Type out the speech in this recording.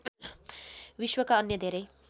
विश्वका अन्य धेरै